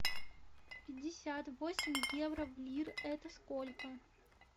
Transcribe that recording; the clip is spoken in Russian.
пятьдесят восемь евро в лир это сколько